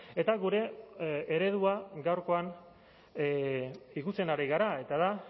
eta gure eredua gaurkoan ikutzen ari gara eta da